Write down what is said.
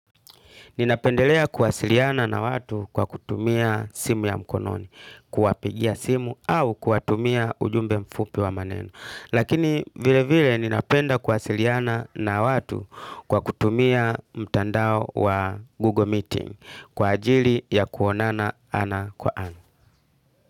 Ninapendelea kuwasiliana na watu kwa kutumia simu ya mkononi, kuwapigia simu au kuwatumia ujumbe mfupi wa maneno. Lakini vile vile ninapenda kuwasiliana na watu kwa kutumia mtandao wa Google Meeting kwa ajili ya kuonana ana kwa ana.